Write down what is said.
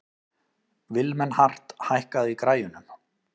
Vilmenhart, hækkaðu í græjunum.